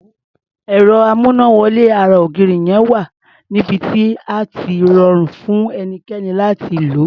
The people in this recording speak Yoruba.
Ẹ̀rọ amúnáwọlé ara ògiri yẹn wà níbi tí á ti rọrùn fún ẹnikẹ́ni láti lò ó.